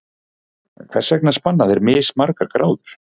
Hvers vegna spanna þeir mismargar gráður?